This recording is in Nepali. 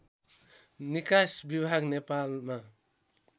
निकास विभाग नेपालमा